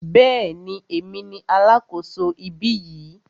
Bẹ́ẹ̀ni, èmi ni alákòso ibí yìí.